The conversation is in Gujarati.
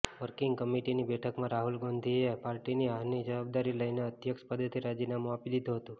વર્કિંગ કમિટીની બેઠકમાં રાહુલ ગાંધીએ પાર્ટીની હારની જવાબદારી લઈને અધ્યક્ષ પદેથી રાજીનામુ આપી દીધુ હતુ